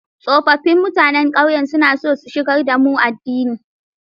Tsofaffin mutanen ƙauyen suna so su shigar da mu addinin.